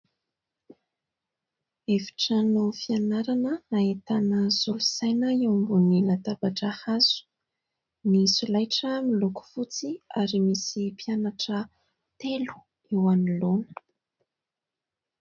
Efitrano fianarana nahitana solosaina eo ambonin'ny latabatra hazo, ny solaitra miloko fotsy ary misy mpianatra telo eo anoloana.